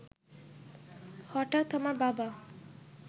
হঠাৎ আমার বাবা